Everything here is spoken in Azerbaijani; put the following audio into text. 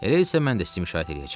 Elə isə mən də sizin müşayiət eləyəcəm.